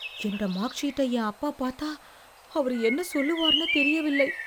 என்னோட மார்க்க்ஷீட்டை என் அப்பா பாத்தா, அவரு என்ன சொல்லுவார்னு தெரியவில்லை.